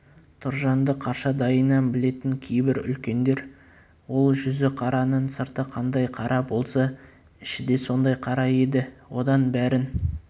тұржанды қаршадайынан білетін кейбір үлкендер ол жүзіқараның сырты қандай қара болса іші де сондай қара еді одан бәрін